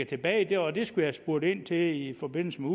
tilbage og det skal jeg have spurgt ind til i forbindelse med